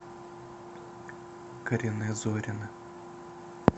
карине зорина